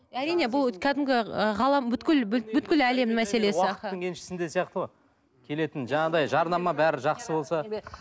әрине бұл кәдімгі ы ғалам әлемнің мәселесі уақыттың еншісінде сияқты ғой келетін жаңағындай жарнама бәрі жақсы болса